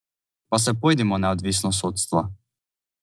Pa se pojdimo neodvisnost sodstva!